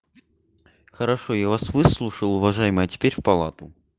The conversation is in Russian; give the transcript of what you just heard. хорошо я вас выслушал уважаемая а теперь в палату